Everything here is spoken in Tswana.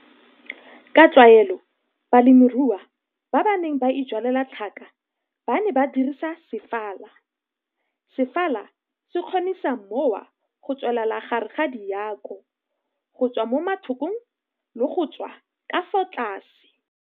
Ka tlwaelo balemirui ba ba neng ba ijwalela tlhaka ba ne ba dirisa sefala. Sefala se kgonisa mowa go tswelela gare ga diako go tswa mo mathokong le go tswa ka fa tlase.